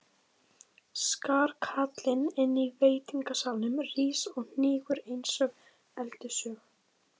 Skarkalinn inní veitingasalnum rís og hnígur einsog öldusog.